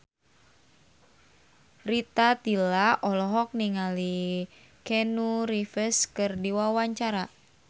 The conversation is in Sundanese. Rita Tila olohok ningali Keanu Reeves keur diwawancara